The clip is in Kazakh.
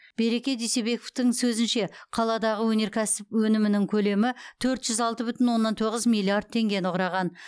береке дүйсебековтың сөзінше қаладағы өнеркәсіп өнімінің көлемі төрт жүз алты бүтін оннан тоғыз миллиард теңгені құраған